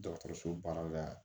Dɔgɔtɔrɔso baara la